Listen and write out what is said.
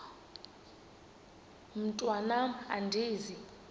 mntwan am andizi